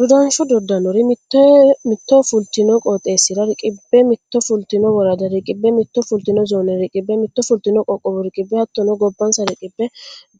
Dodansho dodanori mitto fultino qooxeessa riqqibbe mitto fultino worada riqqibbe mitto fultino zoone riqqibbe mitto fultino qoqqowo riqqibbe hattono gabbansa riqqibbe